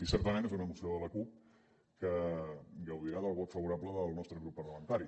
i certament és una moció de la cup que gaudirà del vot favorable del nostre grup parlamentari